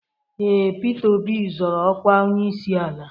Ee, Pita Obi zoro okwa onyeisi ala.